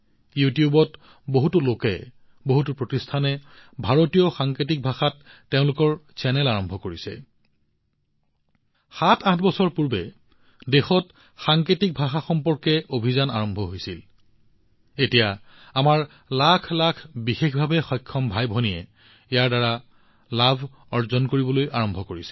ইউটিউবত বহুতো লোকে বহুতো প্ৰতিষ্ঠানে ভাৰতীয় সাংকেতিক ভাষাত তেওঁলোকৰ চেনেল আৰম্ভ কৰিছে অৰ্থাৎ ৭৮ বছৰ পূৰ্বে দেশত সাংকেতিক ভাষাৰ বিষয়ে আৰম্ভ হোৱা অভিযানৰ দ্বাৰা এতিয়া মোৰ লাখ লাখ দিব্যাংগ ভাইভনী উপকৃত হবলৈ আৰম্ভ কৰিছে